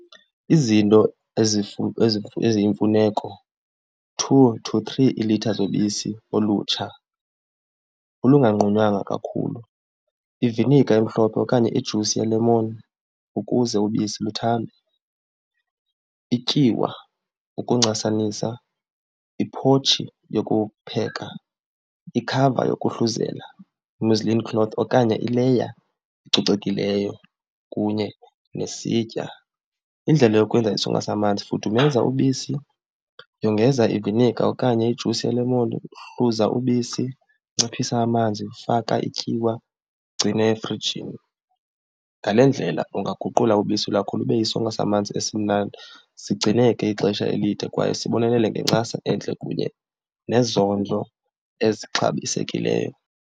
Izinto eziyimfuneko two to three iilitha zobisi olutsha olunganqunywanga kakhulu, iviniga emhlophe okanye ijusi yelemon ukuze ubisi luthambe, ityiwa ukuncasanisa, iphotshi yokupheka, ikhava yokuhluzela, muslim cloth, okanye ileya ecocekileyo kunye nesitya. Indlela yokwenza isonka samanzi, fudumeza ubisi, yongeza iviniga okanye ijusi yelemon, hluza ubisi, nciphisa amanzi, faka ityiwa, ugcine efrijini. Ngale ndlela ungaguqula ubisi lwakho lube yisonka samanzi esimnandi, sigcineke ixesha elide kwaye sibonelele ngencasa entle kunye nezondlo ezixabisekileyo.